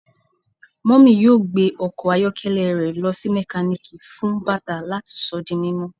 Mummy yoo gbe ọkọ ayọkẹlẹ rẹ lọ si mekaniki fun bata lati sọ di mimọ